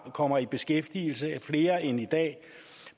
kommer i beskæftigelse flere end i dag